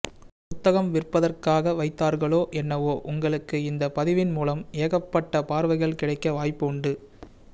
புத்தகம் விற்பதற்காக வைத்தார்களோ என்னவோ உங்களுக்கு இந்த பதிவின் மூலம் ஏகப்பட்ட பார்வைகள் கிடைக்க வாய்ப்பு உண்டு